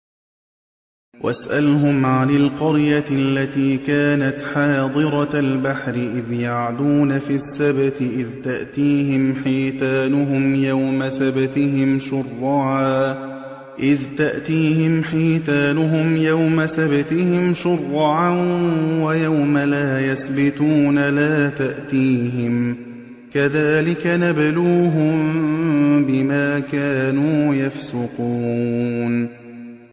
وَاسْأَلْهُمْ عَنِ الْقَرْيَةِ الَّتِي كَانَتْ حَاضِرَةَ الْبَحْرِ إِذْ يَعْدُونَ فِي السَّبْتِ إِذْ تَأْتِيهِمْ حِيتَانُهُمْ يَوْمَ سَبْتِهِمْ شُرَّعًا وَيَوْمَ لَا يَسْبِتُونَ ۙ لَا تَأْتِيهِمْ ۚ كَذَٰلِكَ نَبْلُوهُم بِمَا كَانُوا يَفْسُقُونَ